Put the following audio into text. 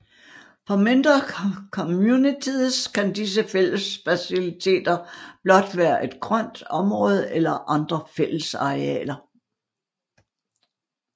For mindre communities kan disse fællesfaciliteter blot være et grønt område eller andre fællesarealer